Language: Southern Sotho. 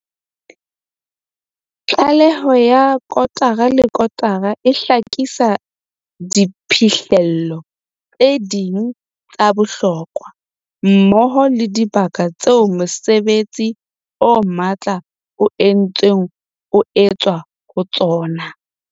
Tlaleho ya kotara le kotara e hlakisa diphihlello tse ding tsa bohlokwa, mmoho le dibaka tseo mosebetsi o matla o ntseng o etswa ho tsona.